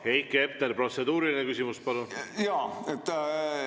Heiki Hepner, protseduuriline küsimus, palun!